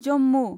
Jammu